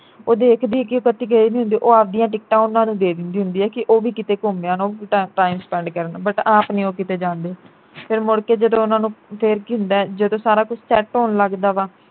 ਉਹ ਦੇਖਦੀ ਐ ਕਿ ਇਹ ਕਦੀ ਗਏ ਨਹੀਂ ਹੁੰਦੇ ਉਹ ਆਪਦੀਆਂ ਟਿਕਟਾਂ ਉਨ੍ਹਾਂ ਨੂੰ ਦੇ ਦਿੰਦੀ ਹੁੰਦੀ ਐ ਕਿ ਉਹ ਵੀ ਕਿਤੇ ਘੁੰਮ ਆਣ ਉਹ time spend ਕਰਨ but ਆਪ ਨੀ ਉਹ ਕਿਤੇ ਜਾਂਦੇ ਫਿਰ ਮੁੜਕੇ ਜਦੋਂ ਉਨ੍ਹਾਂ ਨੂੰ ਫਿਰ ਕੀ ਹੁੰਦਾ ਜਦੋਂ ਸਾਰਾ ਕੁਝ set ਹੋਣ ਲੱਗਦਾ ਵਾ